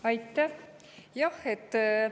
Aitäh!